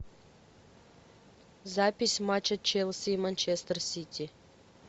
запись матча челси и манчестер сити